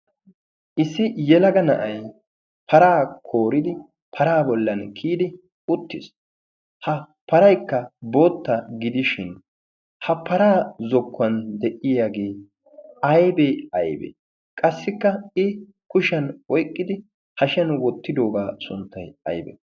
issi yelaga na7ai paraa kooridi paraa bollan kiyidi uttiis. ha paraikka bootta gidishin ha paraa zokkuwan de7iyaagee aibee aibee? qassikka i kushiyan oiqqidi hashiyan wottidoogaa sunttai aibee?